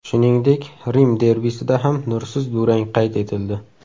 Shuningdek, Rim derbisida ham nursiz durang qayd etildi.